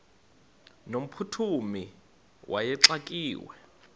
no mphuthumi wayexakiwe